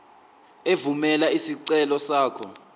evumela isicelo sakho